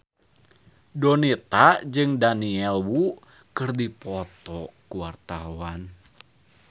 Donita jeung Daniel Wu keur dipoto ku wartawan